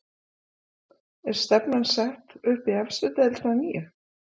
Er stefnan sett upp í efstu deild að nýju?